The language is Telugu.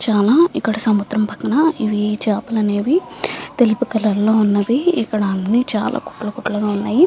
చాలా ఇక్కడ సముద్రం పక్కన ఇవి చాపల నేవి తెలుపు కలర్ లొ ఉన్నవి. ఇక్కడ అన్ని చాలా కుప్పలు కుప్పలుగా ఉన్నాయి.